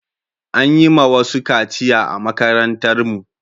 An yi ma wasu kaciya a makarantar mu